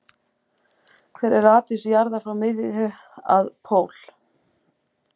Hver er radíus jarðar frá miðju að pól?